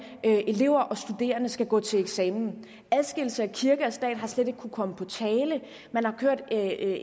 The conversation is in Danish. elever og studerende skal gå til eksamen adskillelse af kirke og stat er slet ikke kommet på tale